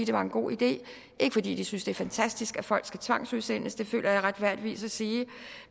var en god idé ikke fordi de synes det er fantastisk at folk skal tvangsudsendes det føler jeg retfærdigvis må sige